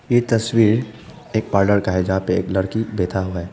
ये तस्वीर एक पॉर्लर का है जहां पे एक लड़की बैठा हुआ है।